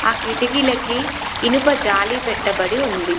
ఆ కిటికీలకి ఇనుప జాలి పెట్టబడి ఉంది.